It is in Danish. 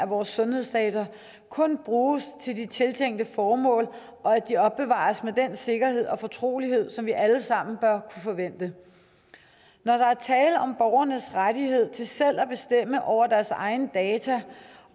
vores sundhedsdata kun bruges til de tiltænkte formål og at de opbevares med den sikkerhed og fortrolighed som vi alle sammen bør forvente der er tale om borgernes rettigheder til selv at bestemme over deres egne data